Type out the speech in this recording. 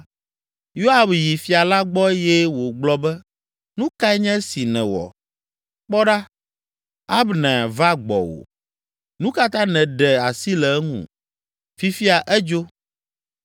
Yoab yi Fia la gbɔ eye wògblɔ be, “Nu kae nye esi nèwɔ? Kpɔ ɖa, Abner va gbɔwò. Nu ka ta nèɖe asi le eŋu? Fifia edzo!